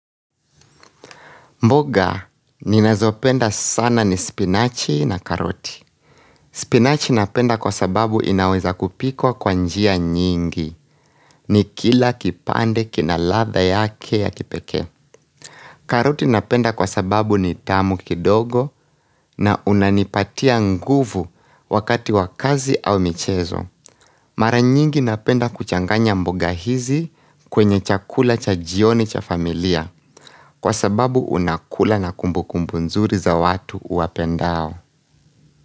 Mboga, ninazopenda sana ni spinachi na karoti. Spinachi napenda kwa sababu inaweza kupikwa kwa njia nyingi, nikila kipande kina ladha yake ya kipekee. Karoti napenda kwa sababu ni tamu kidogo na unanipatia nguvu wakati wa kazi au michezo. Mara nyingi napenda kuchanganya mboga hizi kwenye chakula cha jioni cha familia kwa sababu unakula na kumbukumbu nzuri za watu uwapendao.